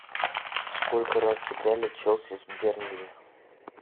сколько раз сыграли челси с бернли